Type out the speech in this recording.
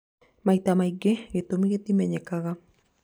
Maita maingĩ gĩtũmi gĩtimenyekaga